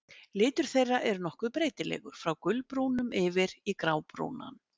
Litur þeirra er nokkuð breytilegur, frá gulbrúnum yfir í grábrúnan.